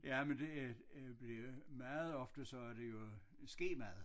Ja men det øh bliver meget ofte så er det jo skemad